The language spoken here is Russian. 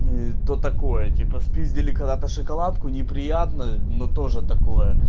кто такой типа спиздили когда-то шоколадку неприятно но тоже такое